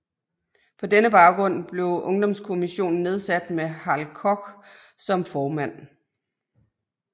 På denne baggrund blev Ungdomskommissionen nedsat med Hal Koch som formand